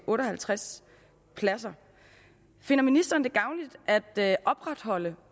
otte og halvtreds pladser finder ministeren det gavnligt at opretholde